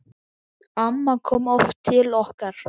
Amma kom oft til okkar.